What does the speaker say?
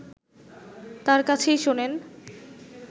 তার কাছেই শোনেন